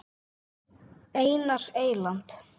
Einar Eyland.